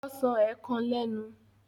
Ọsán ė kan lẹ́nu.